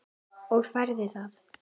Og færðu það?